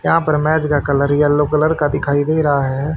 यहां पर मेज का कलर येलो कलर का दिखाई दे रहा है।